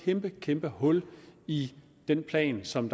kæmpe kæmpe hul i den plan som